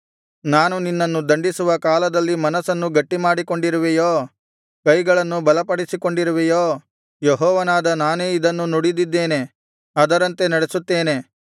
ನಾನು ನಿನ್ನನ್ನು ದಂಡಿಸುವ ಕಾಲದಲ್ಲಿ ಮನಸ್ಸನ್ನು ಗಟ್ಟಿ ಮಾಡಿಕೊಂಡಿರುವೆಯೋ ಕೈಗಳನ್ನು ಬಲಪಡಿಸಿಕೊಂಡಿರುವೆಯೋ ಯೆಹೋವನಾದ ನಾನೇ ಇದನ್ನು ನುಡಿದಿದ್ದೇನೆ ಅದರಂತೆ ನಡೆಸುತ್ತೇನೆ